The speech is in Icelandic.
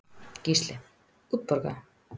Gísli: Útborgað?